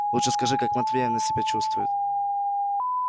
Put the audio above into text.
лучше скажи как матвеевна себя чувствует